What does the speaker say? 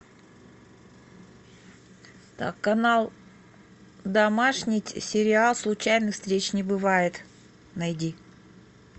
так канал домашний сериал случайных встреч не бывает найди